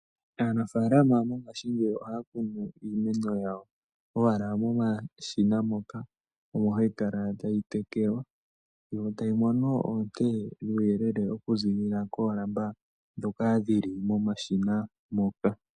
Aafaalama mongaashingeyi ohaya kunu owala iimeno yawo momashina ngoka omo hayi kala tayi tekelwa, yo tayi mono oonte dhuuyelele okuziilila koolamba ndhoka dhili momashina moka.